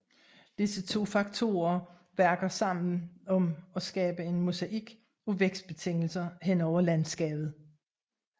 Disse to faktorer virker sammen om at skabe en mosaik af vækstbetingelser hen over landskabet